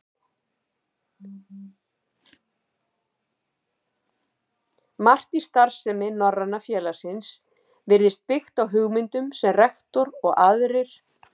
Margt í starfsemi Norræna félagsins virtist byggt á hugmyndum, sem rektor og aðrir